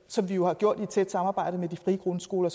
som vi jo har gjort i et tæt samarbejde med de frie grundskoler